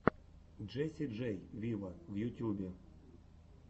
джесси джей виво в ютьюбе